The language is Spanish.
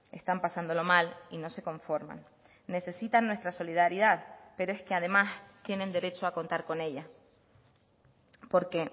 están pasándolo mal y no se conforman necesitan nuestra solidaridad pero es que además tienen derecho a contar con ella porque